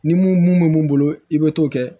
Ni mun mun bɛ mun bolo i bɛ t'o kɛ